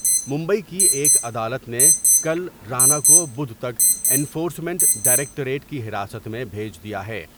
ممبئی کی ایک عدالت نے کل رانا کو بدھ تک انفورسمنٹ ڈائریکٹریٹ کی حراست میں بھیج دیا ہے ۔